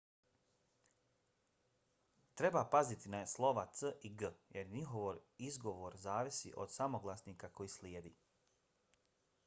treba paziti na slova c i g jer njihov izgovor zavisi od samoglasnika koji slijedi